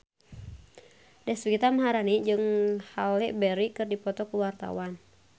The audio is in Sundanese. Deswita Maharani jeung Halle Berry keur dipoto ku wartawan